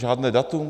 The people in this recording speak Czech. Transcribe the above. Žádné datum?